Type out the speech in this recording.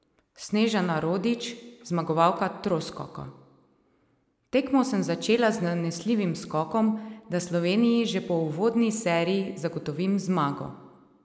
Snežana Rodič, zmagovalka troskoka: "Tekmo sem začela z zanesljivim skokom, da Sloveniji že po uvodni seriji zagotovim zmago.